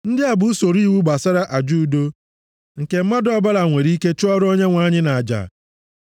“ ‘Ndị a bụ usoro iwu gbasara aja udo nke mmadụ ọbụla nwere ike chụọrọ Onyenwe anyị nʼaja: